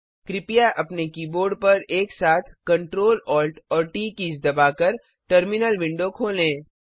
कृपया अपने कीबोर्ड पर एक साथ Ctrl Alt और ट कीज दबाकर टर्मिनल विंडो खोलें